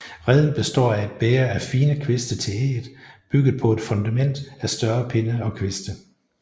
Reden består af et bæger af fine kviste til ægget bygget på et fundament af større pinde og kviste